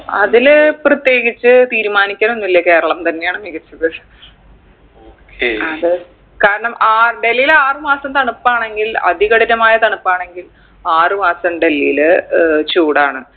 അതില് പ്രത്യേകിച്ച് തീരുമാനിക്കാനൊന്നില്ല കേരളം തന്നെയാണ് മികച്ചത് കാരണം ആ ഡെൽഹീൽ ആറ് മാസം തണുപ്പാണെങ്കിൽ അതികഠിനമായ തണുപ്പാണെങ്കിൽ ആറ് മാസം ഡൽഹീല് ഏർ ചൂടാണ്